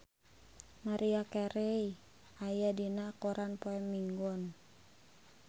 Maria Carey aya dina koran poe Minggon